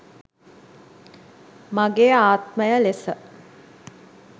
මගේ ආත්මය ලෙස